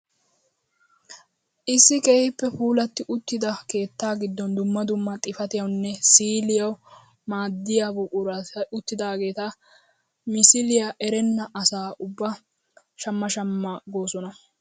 Issi keehippe puulatti uttida keettaa giddon dumma dumma xifatiyawunne siiliyawu maaddiyaa buqurati uttidaageti misiliyaa erenna asaa ubba shamma shamma goosona!